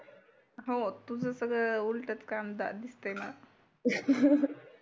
हो तुझ सगळ उलट काम दिसते मला